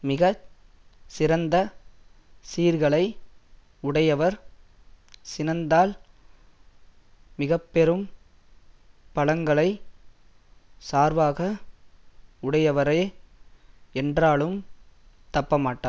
மிக சிறந்த சீர்களை உடையவர் சினந்தால் மிக பெரும் பலங்களைச் சார்வாக உடையவரே என்றாலும் தப்பமாட்டார்